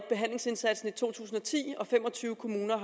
behandlingsindsatsen i to tusind og ti og at fem og tyve kommuner